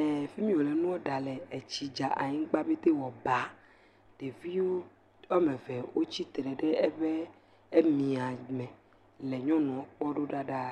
ee.. fi mi wòle nu ɖa le etsi dza anyigba petee wɔ baa, ɖevi woame eve wotsitre ɖe eƒe miame le nyɔnuɔ kpɔ ɖaa.